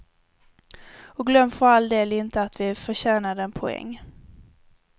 Och glöm för all del inte att vi förtjänade en poäng.